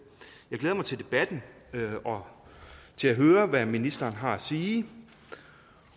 glæder mig til debatten og til at høre hvad ministeren har at sige